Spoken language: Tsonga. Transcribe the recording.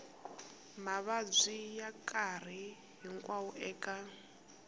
mavabyi ya nkarhi hinkwawo eka